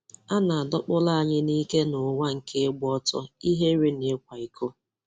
A na-adọkpụrụ anyị n'ike n'ụwa nke ịgba ọtọ, ihere na ịkwa iko.